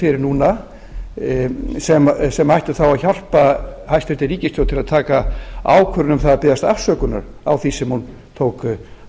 fyrir núna sem ættu þá að hjálpa hæstvirt ríkisstjórn til að taka ákvörðun um að biðjast afsökunar á því sem hún tók